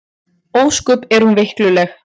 Ósköp er hún veikluleg.